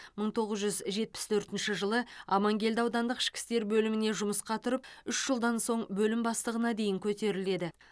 мың тоғыз жүз жетпіс төртінші жылы аманкелді аудандық ішкі істер бөліміне жұмысқа тұрып үш жылдан соң бөлім бастығына дейін көтеріледі